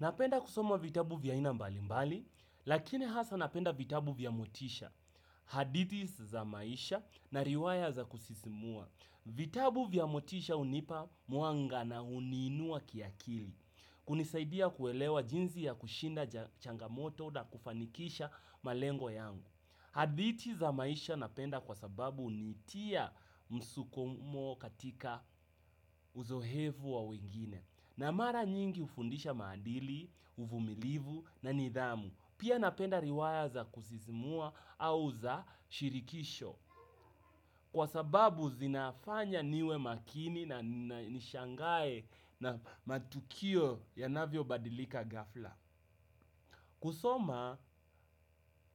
Napenda kusoma vitabu vya aina mbali mbali, lakini hasa napenda vitabu vya motisha, haditi za maisha na riwaya za kusisimua. Vitabu vya motisha unipa mwanga na uniinua kiakili, kunisaidia kuelewa jinzi ya kushinda changamoto na kufanikisha malengo yangu. Haditi za maisha napenda kwa sababu unitia msukumo katika uzohevu wa wengine. Na mara nyingi ufundisha maadili, uvumilivu na nidhamu. Pia napenda riwaya za kusisimua au za shirikisho. Kwa sababu zinafanya niwe makini na nishangae na matukio yanavyobadilika ghafla. Kusoma,